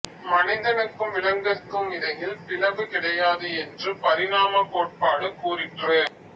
மனிதனுக்கும் விலங்குகட்கும் இடையில் பிளவு கிடையாது என்று பரிணாமக் கோட்பாடு கூறிற்று